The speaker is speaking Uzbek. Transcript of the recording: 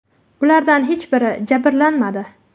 Ulardan hech biri jabrlanmadi.